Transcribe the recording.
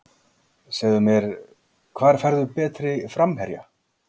Segðu mér, hvar færðu betri framherja?